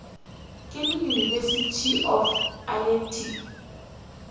ke le university of alacrity